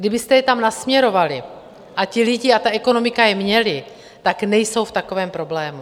Kdybyste je tam nasměrovali a ti lidé - a ta ekonomika - je měli, tak nejsou v takovém problému.